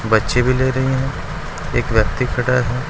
बच्चे भी ले रही हैं एक व्यक्ति भी खड़ा है।